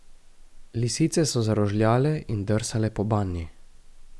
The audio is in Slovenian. Lisice so zarožljale in drsale po banji.